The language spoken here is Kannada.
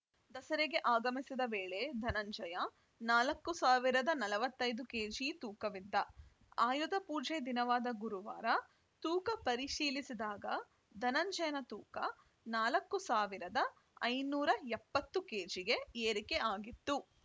ದಸರೆಗೆ ಆಗಮಿಸಿದ ವೇಳೆ ಧನಂಜಯ ನಾಲ್ಕ್ ಸಾವಿರದ ನಲವತ್ತ್ ಐದು ಕೆಜಿ ತೂಕವಿದ್ದ ಆಯುಧಪೂಜೆ ದಿನವಾದ ಗುರುವಾರ ತೂಕ ಪರಿಶೀಲಿಸಿದಾಗ ಧನಂಜಯನ ತೂಕ ನಾಲ್ಕ್ ಸಾವಿರದ ಐದುನೂರ ಎಪ್ಪತ್ತು ಕೆಜಿಗೆ ಏರಿಕೆ ಆಗಿತ್ತು